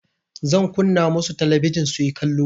Zan kunna musu talabijin suyi kallo.